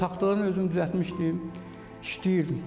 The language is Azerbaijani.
Taxtadan özüm düzəltmişdim, işləyirdim.